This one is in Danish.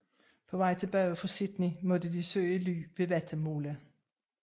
På vej tilbage til Sydney måtte de søge ly ved Wattamolla